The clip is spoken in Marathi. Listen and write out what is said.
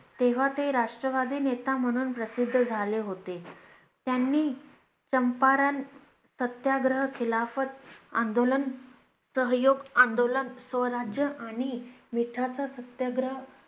तेव्हा ते राष्ट्रवादी नेता म्हणून प्रसिद्ध झाले होते त्यांनी चंपारण सत्याग्रह खिलाफत आंदोलन सहयोग आंदोलन स्वराज्य आणि मिठाचा सत्याग्रह